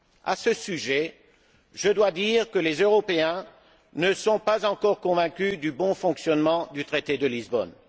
À ce sujet, je dois dire que les Européens ne sont pas encore convaincus du bon fonctionnement du traité de Lisbonne.